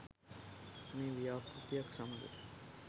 මේ ව්‍යාපෘතියත් සමඟ